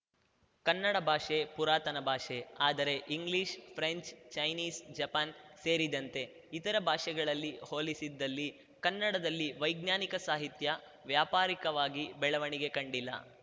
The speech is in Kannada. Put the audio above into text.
ಕನ್ನಡ ಭಾಷೆ ಪುರಾತನ ಭಾಷೆ ಆದರೆ ಇಂಗ್ಲಿಷ್‌ ಫ್ರೆಂಚ್‌ ಚೈನೀಸ್‌ ಜಪಾನ್‌ ಸೇರಿದಂತೆ ಇತರೆ ಭಾಷೆಗಳಲ್ಲಿ ಹೋಲಿಸಿದ್ದಲ್ಲಿ ಕನ್ನಡದಲ್ಲಿ ವೈಜ್ಞಾನಿಕ ಸಾಹಿತ್ಯ ವ್ಯಾಪಾರಿಕವಾಗಿ ಬೆಳವಣಿಗೆ ಕಂಡಿಲ್ಲ